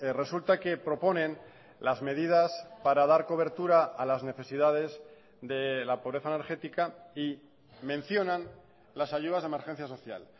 resulta que proponen las medidas para dar cobertura a las necesidades de la pobreza energética y mencionan las ayudas de emergencia social